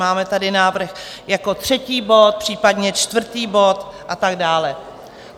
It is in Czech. Máme tady návrh jako třetí bod, případně čtvrtý bod a tak dále.